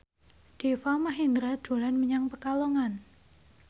Deva Mahendra dolan menyang Pekalongan